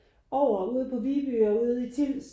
Over ude på Viby og ude i Tilst